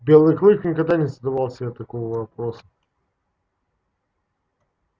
белый клык никогда не задавал себе такого вопроса